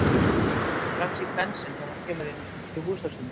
Rekur augun strax í Bensinn þegar hann kemur inn í húsasundið.